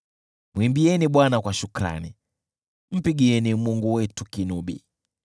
Mwimbieni Bwana kwa shukrani, mpigieni Mungu wetu kinubi.